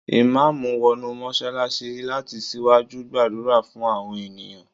The imam entered the mosque to lead the congregation in prayer